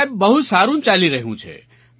સાહેબ બહુ સારું ચાલી રહ્યું છે